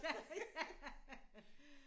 Ja ja